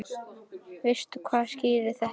Veistu hvað skýrir þetta?